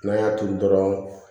N'an y'a turu dɔrɔn